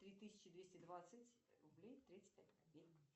три тысячи двести двадцать рублей тридцать пять копеек